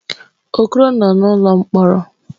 Okoro nọ n'ụlọ mkpọrọ.